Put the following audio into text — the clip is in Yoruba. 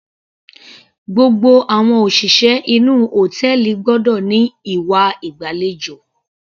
Gbogbo àwọn òṣìṣẹ́ inú hòtẹ́ẹ̀lì gbọ́dọ̀ ní ìwà ìgbàlejò.